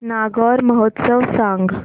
नागौर महोत्सव सांग